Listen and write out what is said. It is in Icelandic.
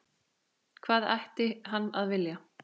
Hvað ætti hann að vilja?